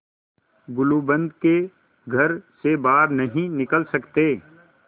गुलूबंद के घर से बाहर नहीं निकल सकते